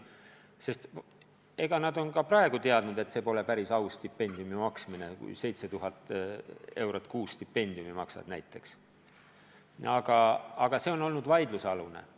Nad on ka praegu teadnud, et see pole päris aus stipendiumi maksmine, kui näiteks 7000 eurot kuus stipendiumit maksad, aga see on olnud vaidlusalune.